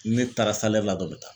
Ne taara la dɔn n bɛ taa